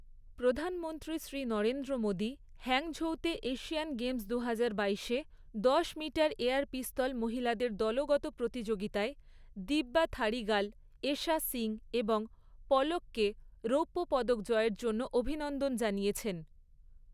প্রধানমন্ত্রী শ্রী নরেন্দ্র মোদী হাংঝৌতে Asian Games দুজাহার বাইশে দশ মিটার এয়ার পিস্তল মহিলাদের দলগত প্রতিযোগিতায় দিব্যা থাড়িগাল, এশা সিং এবং পলককে রৌপ্য পদক জয়ের জন্য অভিনন্দন জানিয়েছেন।